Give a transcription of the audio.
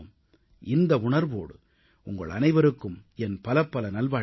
இந்த உணர்வோடு உங்கள் அனைவருக்கும் என் பலபல நல்வாழ்த்துகள்